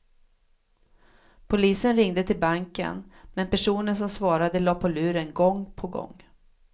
Polisen ringde till banken, men personen som svarade la på luren gång på gång.